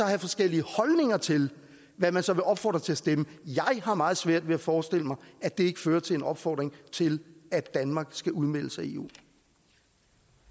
have forskellige holdninger til hvad man så vil opfordre til at stemme jeg har meget svært ved at forestille mig at det ikke fører til en opfordring til at danmark skal udmeldes